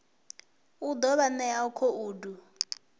u ḓo vha ṋea khoudu